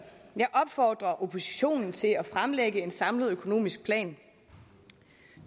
jeg opfordrer oppositionen til at fremlægge en samlet økonomisk plan